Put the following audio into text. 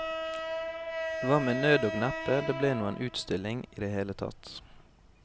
Det var med nød og neppe det ble noen utstilling i det hele tatt.